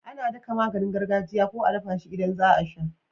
Ana daka maganin gargajiya ko a dafa shi idan zaa sha